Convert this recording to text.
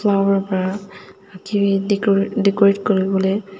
flower pura deco decorate kuribole.